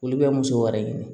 Olu bɛ muso wɛrɛ ɲini